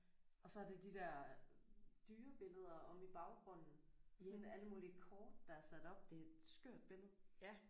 Og så er det de der dyrebilleder omme i baggrunden sådan alle mulige kort der er sat op det er et skørt billede